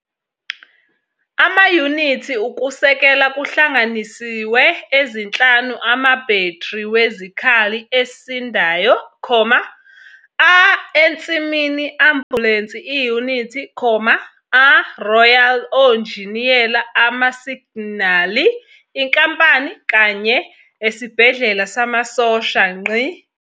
Amayunithi Ukusekela kuhlanganisiwe ezinhlanu amabhethri wezikhali esindayo, a ensimini ambulensi iyunithi, a Royal Onjiniyela amasignali inkampani kanye esibhedlela samasosha.